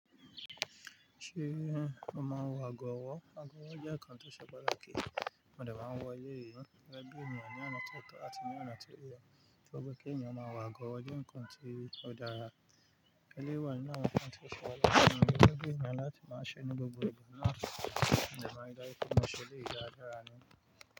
Ṣé o máa ń wọ ago ọwọ́? Ago ọwọ́ jẹ́ ǹkan tó ṣe pàtàkì mo dẹ̀ máa wọ eléyìí, gẹ́gẹ́ bí ènìyàn ni ọ̀nà tó tọ̀ á ti ní ọ̀nà tó yẹ torí kí ènìyàn máa wọ ago ọwọ́ jẹ́ ǹkan tí ó dára. Eléyìí wà ni wọ́n máa ń ṣe ẹlẹ́ṣọ̀ọ́ ń gẹ́gẹ́ bí ènìyàn láti máa ṣe ní gbogbo ìgbà náà mo dẹ̀ máa ri dájú pé mo se eléyìí dáradára ni.